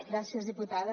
gràcies diputada